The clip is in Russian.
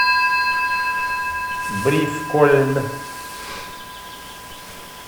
бривкольн